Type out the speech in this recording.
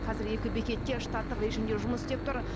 қазір екі бекет те штаттық режимде жұмыс істеп тұр